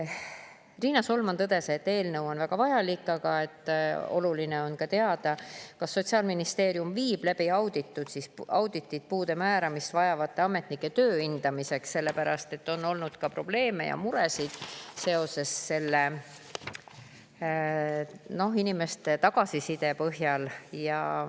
Riina Solman tõdes, et eelnõu on väga vajalik, aga oluline on ka teada, kas Sotsiaalministeerium viib läbi auditi puuet määravate ametnike töö hindamiseks, sellepärast et inimeste tagasiside põhjal on olnud sellega seoses probleeme ja muresid.